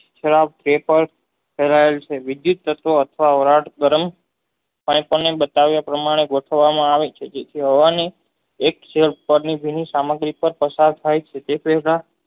છે વિધુત તત્વ એવાજ બની થાય તેની બતાવ્યા પ્રમાણે ગોઠવામાં આવે છે તે હોવાની જેની સામગ્રીતા પસાર થાય છે